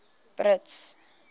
brits